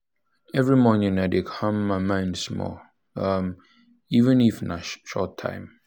every morning i dey calm my mind small even um even um if na short time